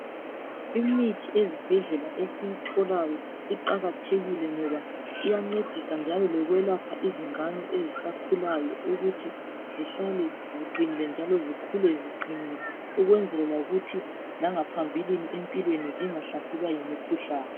Imithi ezibhedlela esiyitholayo iqakathekile ngoba iyancedisa njalo lokwelapha izingane ezisakhulayo ukuthi zihlale ziqinile njalo zikhule ziqinile ukwenzela ukuthi langaphambilini empilweni zingahlaselwa yimikhuhlane.